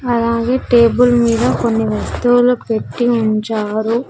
అలాగే టేబుల్ మీద కొన్ని వస్తువులు పెట్టి ఉంచారు.